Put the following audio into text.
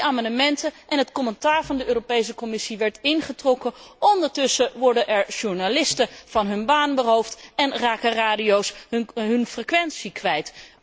Drie amendementen en het commentaar van de Commissie werd ingetrokken. Ondertussen worden er journalisten van hun baan beroofd en raken radiozenders hun frequentie kwijt.